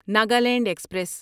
Nagaland express